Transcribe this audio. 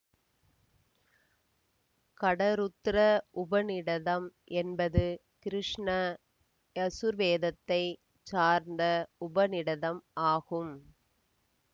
கடருத்ர உபநிடதம் என்பது கிருஷ்ண யசுர்வேதத்தைச் சார்ந்த உபநிடதம் ஆகும்